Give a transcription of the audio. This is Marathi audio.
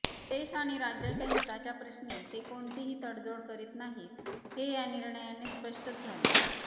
देश आणि राज्याच्या हिताच्या प्रश्नी ते कोणतीही तडजोड करीत नाहीत हे या निर्णयाने स्पष्टच झाले